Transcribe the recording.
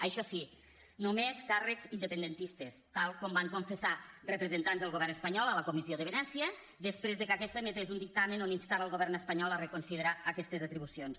això sí només càrrecs independentistes tal com van confessar representants del govern espanyol a la comissió de venècia després que aquesta emetés un dictamen on instava el govern espanyol a reconsiderar aquestes atribucions